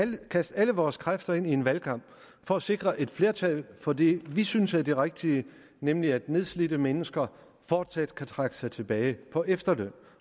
vil kaste alle vores kræfter ind i en valgkamp for at sikre et flertal for det vi synes er det rigtige nemlig at nedslidte mennesker fortsat kan trække sig tilbage på efterløn